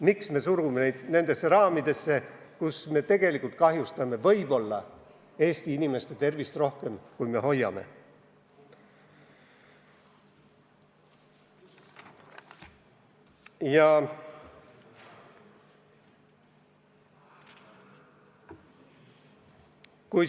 Miks me surume neid raamidesse, millega me tegelikult võime Eesti inimeste tervist rohkem kahjustada kui hoida?